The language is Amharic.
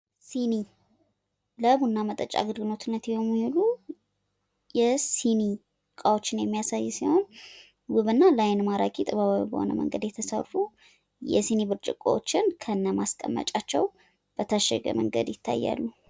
ሲኒ: ለቡና መጠጫነት የሚውሉ የሲኒ እቃወችን የሚያሳይ ሲሆን ለአይን ሳቢና ማራኪ እንዲሁም ጥበባዊ በሆነ መንገድ ተሰርተዋል። ሲኒዎቹ ከነማስቀመጫቸው ታሽገው ይታያሉ።